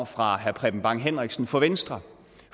fra herre preben bang henriksen fra venstre